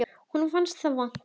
Honum fannst það vont.